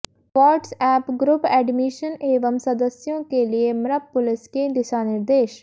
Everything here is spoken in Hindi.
वाॅट्सएप ग्रुप एडमिशन एवं सदस्यों के लिए मप्र पुलिस के दिशा निर्देश